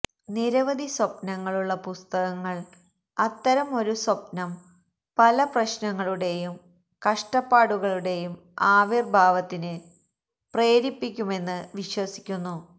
നിരവധി സ്വപ്നങ്ങളുള്ള പുസ്തകങ്ങൾ അത്തരം ഒരു സ്വപ്നം പല പ്രശ്നങ്ങളുടെയും കഷ്ടപ്പാടുകളുടെയും ആവിർഭാവത്തിന് പ്രേരിപ്പിക്കുമെന്ന് വിശ്വസിക്കുന്നു